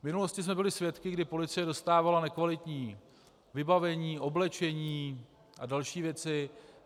V minulosti jsme byli svědky, kdy policie dostávala nekvalitní vybavení, oblečení a další věci.